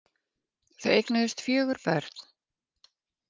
Þau eignuðust fjögur börn